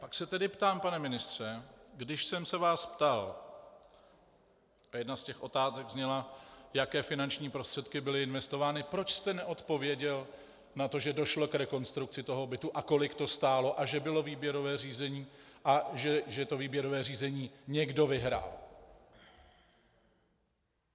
Pak se tedy ptám, pane ministře, když jsem se vás ptal, a jedna z těch otázek zněla, jaké finanční prostředky byly investovány, proč jste neodpověděl na to, že došlo k rekonstrukci toho bytu a kolik to stálo a že bylo výběrové řízení a že to výběrové řízení někdo vyhrál.